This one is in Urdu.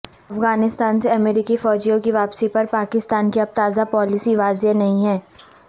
افغانستان سے امریکی فوجیوں کی واپسی پر پاکستان کی اب تازہ پالیسی واصح نہیں ہے